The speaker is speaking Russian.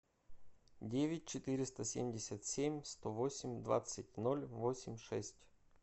девять четыреста семьдесят семь сто восемь двадцать ноль восемь шесть